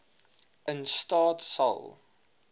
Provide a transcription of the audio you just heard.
in staat sal